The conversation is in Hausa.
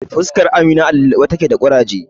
Fuskar Amina a lulluɓe take da ƙuraje.